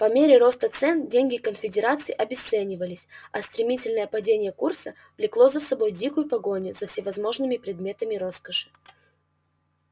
по мере роста цен деньги конфедерации обесценивались а стремительное падение курса влекло за собой дикую погоню за всевозможными предметами роскоши